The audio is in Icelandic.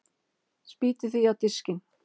Spýti því á diskinn.